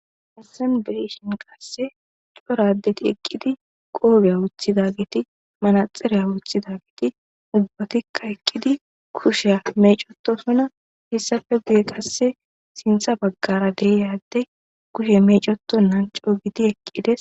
Haysan be'ishin qasseka cora adeti eqqidi qoofiya wothidageti manaxiriya woththidageti,ubbatika eqqidi kushiya meecetosona. Hessappe guye qasseka sinththa baggara de'iya addey kushe meecetonan co'u giidi eqqides.